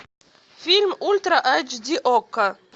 фильм ультра эйч ди окко